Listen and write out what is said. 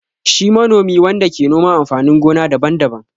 Shi manomi wanda ke noman amfanin gona daban-daban.